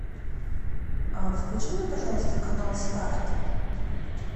включи мне пожалуйста канал старт